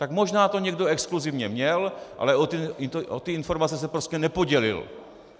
Tak možná to někdo exkluzivně měl, ale o ty informace se prostě nepodělil.